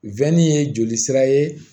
ye joli sira ye